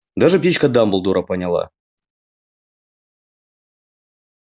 даже птичка дамблдора поняла